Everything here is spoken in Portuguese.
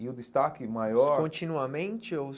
E o destaque maior... Continuamente ou?